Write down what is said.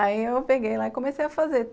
Aí eu peguei lá e comecei a fazer.